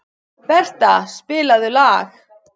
Bertha, spilaðu lag.